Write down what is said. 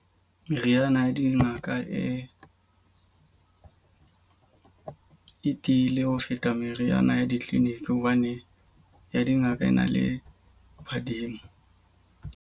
Meriana ya dingaka e e tiile ho feta meriana ya di-clinic. Hobane ya dingaka ena le badimo.